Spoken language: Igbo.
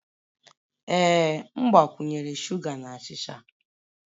Ee m gbakwunyere sugar na achịcha.